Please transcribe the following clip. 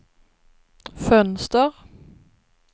fönster